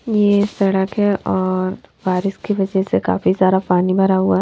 ये सड़क है और बारिश की वजह से काफी सारा पानी भरा हुआ है।